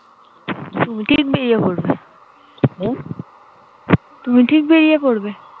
তুমি ঠিক বেরিয়ে পড়বে হু তুমি ঠিক বেরিয়ে পড়বে